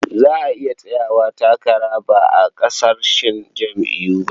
Za a iya tsayawa takara ba a ƙarƙashin jam'iyya ba.